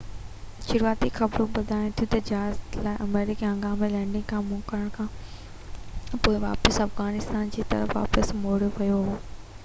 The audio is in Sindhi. شروعاتي خبرون ٻڌاين ٿيون تہ جهاز کي ارمڪي ۾ هنگامي لينڊنگ کان منع ڪرڻ کانپوءِ واپيس افغانستان جي طرف واپس موڙيو ويو هو